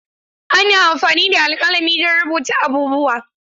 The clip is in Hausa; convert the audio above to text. Ana amfani da alƙalami don rubuta abubuwa.